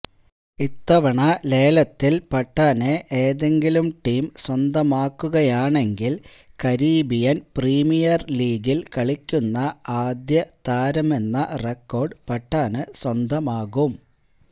ഇത്തവണത്തെ ലേലത്തില് പത്താനെ ഏതെങ്കിലും ടീം സ്വന്തമാക്കുകയാണെങ്കില് കരീബിയന് പ്രീമിയര് ലീഗില് കളിക്കുന്ന ആദ്യ താരമെന്ന റെക്കോര്ഡ് പത്താന് സ്വന്തമാകും